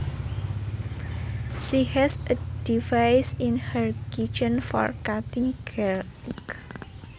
She has a device in her kitchen for cutting garlic